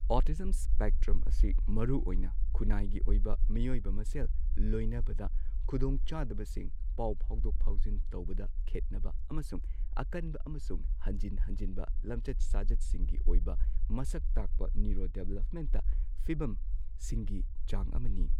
Autism spectrum ꯑꯁꯤ ꯃꯔꯨꯑꯣꯏꯅ ꯈꯨꯅꯥꯢꯒꯤ ꯑꯣꯢꯕ ꯃꯤꯑꯣꯢꯕ ꯃꯁꯦꯜ ꯂꯣꯢꯅꯕꯗ ꯈꯨꯗꯣꯡꯆꯥꯗꯕꯁꯤꯡ, ꯄꯥꯎ ꯐꯥꯎꯗꯣꯛ ꯐꯥꯎꯖꯤꯟ ꯇꯧꯕꯗ ꯈꯦꯠꯅꯕ, ꯑꯃꯁꯨꯡ ꯑꯀꯟꯕ ꯑꯃꯁꯨꯡ ꯍꯟꯖꯤꯟ ꯍꯟꯖꯤꯟꯕ ꯂꯝꯆꯠ ꯁꯥꯖꯠꯁꯤꯡꯒꯤ ꯑꯣꯢꯕ ꯃꯁꯛ ꯇꯥꯛꯄ ꯅ꯭ꯌꯨꯔꯣꯗꯤꯚꯂꯞꯃꯦꯟꯇ ꯐꯤꯕꯝꯁꯤꯡꯒꯤ ꯆꯥꯡ ꯑꯃꯅꯤ꯫